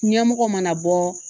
Ɲɛmɔgɔ mana bɔ